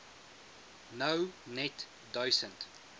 nou net duisend